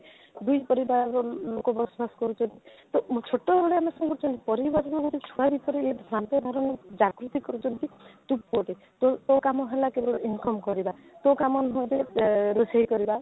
ଦୁଇ ପରିବାରର ଲୋକ ବସବାସ କରୁଛନ୍ତି ତ ଛୋଟ ବେଳୁ ଆମେ କ'ଣ କରୁଛନ୍ତି ପରିବାରରେ ଗୋଟେ ଛୁଆ ଭିତରେ ଏ ଭ୍ରାନ୍ତ ଧାରଣା ଜାଗୃତି କରିଛନ୍ତି ତ ଗୋଟେ ତ ତ କାମ ହେଲା କି ନାହିଁ income କରିବା ତ କାମ ନିହାତି ଆଃ ରୋଷେଇ କରିବା